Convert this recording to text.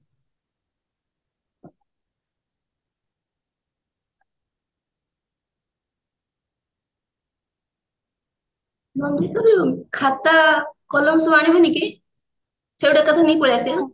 ଖାତା କଲମ ସବୁ ଆଣିବୁ ନି କି ସେଇଠୁ ଏକାଥରେ ନେଇ ପଳେଈ ଆସିବା ଆଉ